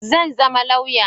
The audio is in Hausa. Zan zama lauya.